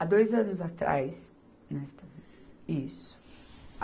Há dois anos atrás, nós estamos. Isso.